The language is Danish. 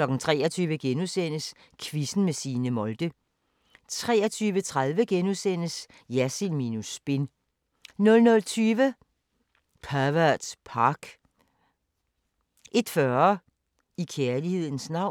23:00: Quizzen med Signe Molde * 23:30: Jersild minus spin * 00:20: Pervert Park 01:40: I kærlighedens navn